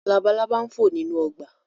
Labalaba n fo ninu ọgba